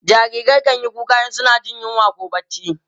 jarirai kanyi kuka in suna Jin yunwa koh barci